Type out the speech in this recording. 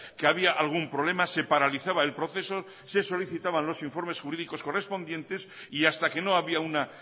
que había algún problema se paralizaba el proceso se solicitaban los informes jurídicos correspondientes y hasta que no había una